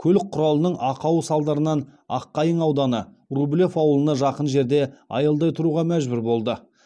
көлік құралының ақауы салдарынан аққайың ауданы рублев ауылына жақын жерде аялдай тұруға мәжбүр болды